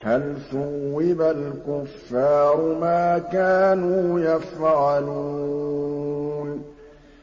هَلْ ثُوِّبَ الْكُفَّارُ مَا كَانُوا يَفْعَلُونَ